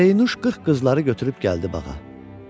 Pərinüş 40 qızları götürüb gəldi bağa.